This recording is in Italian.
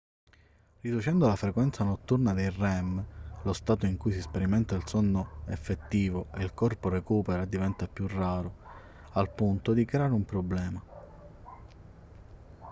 riducendo la frequenza notturna dei rem lo stato in cui si sperimenta il sonno effettivo e il corpo recupera diventa più raro al punto di creare un problema